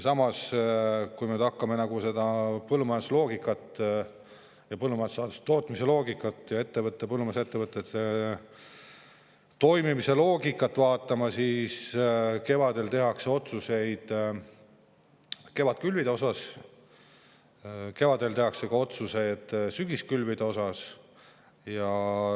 Samas vaatame nüüd põllumajanduse, põllumajandussaaduste tootmise ja põllumajandusettevõtte toimimise loogikat: kevadel tehakse otsused kevadkülvide kohta, kevadel tehakse otsused ka sügiskülvide kohta.